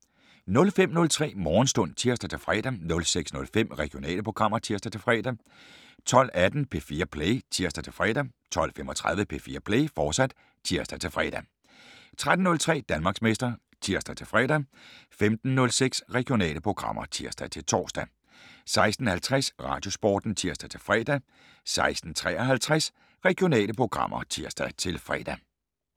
05:03: Morgenstund (tir-fre) 06:05: Regionale programmer (tir-fre) 12:18: P4 Play (tir-fre) 12:35: P4 Play, fortsat (tir-fre) 13:03: Danmarksmester (tir-fre) 15:06: Regionale programmer (tir-tor) 16:50: Radiosporten (tir-fre) 16:53: Regionale programmer (tir-fre)